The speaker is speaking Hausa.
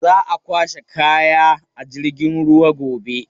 Za a kwashe kaya a jirgin ruwa gobe.